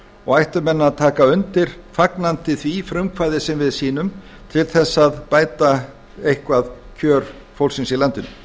og ættu menn að taka undir fagnandi það frumkvæði sem við sýnum til þess að bæta eitthvað kjör fólksins í landinu